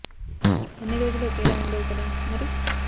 అన్ని రోజులు ఒకేలా ఉండవు కదా మరి